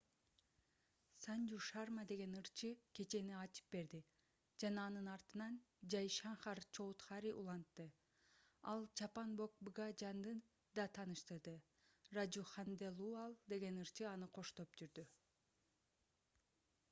санжу шарма деген ырча кечени ачып берди жана анын артынан жай шанкар чоудхари улантты ал чаппан бог бгажанды да тааныштырды ражу ханделуал деген ырчы аны коштоп жүрдү